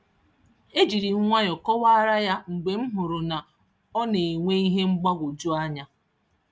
E jírím nwayọọ kọwaara ya mgbe m hụrụ na ọ nenwe ihe mgbagwoju anya